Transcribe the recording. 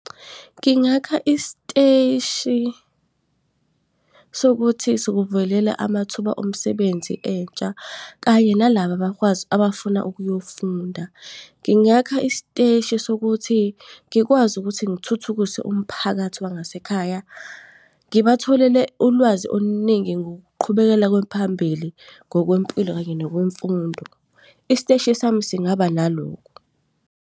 Ngingakha isiteshi sokuthi sikuvulela amathuba omsebenzi entsha, kanye nalaba abakwazi abafuna uyofunda. Ngingakha isiteshi sokuthi ngikwazi ukuthi ngithuthukise umphakathi wangasekhaya. Ngibatholele ulwazi oluningi, ngokuqhubekela phambili ngokwempilo kanye nokwemfundo. Isiteshi sami singaba nalokho.